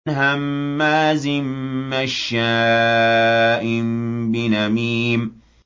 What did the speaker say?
هَمَّازٍ مَّشَّاءٍ بِنَمِيمٍ